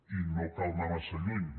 i no cal anar massa lluny